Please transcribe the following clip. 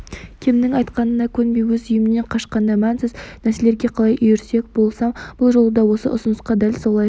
кемнің айтқанына көнбей өз үйімнен қашқанда мәнсіз нәрселерге қалай үйірсек болсам бұл жолы да осы ұсынысқа дәл солай